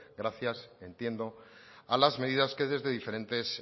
gracias entiendo a las medidas que desde diferentes